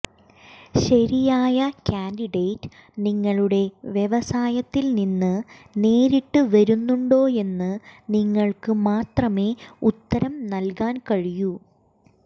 ശരിയായ കാൻഡിഡേറ്റ് നിങ്ങളുടെ വ്യവസായത്തിൽ നിന്ന് നേരിട്ട് വരുന്നുണ്ടോയെന്ന് നിങ്ങൾക്ക് മാത്രമേ ഉത്തരം നൽകാൻ കഴിയൂ